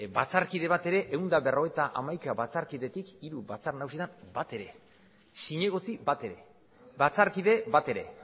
batzarkide bat ere ehun eta berrogeita hamaika batzarkidetik hiru batzar nagusietan bat ere ez zinegotzi bat ere ez batzarkide bat ere